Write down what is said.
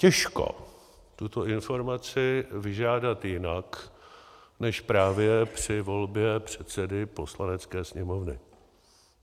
Těžko tuto informaci vyžádat jinak než právě při volbě předsedy Poslanecké sněmovny.